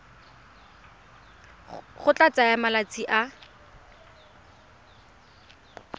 go tla tsaya malatsi a